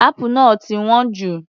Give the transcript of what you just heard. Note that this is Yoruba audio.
Apple náà ti wọ́n jù.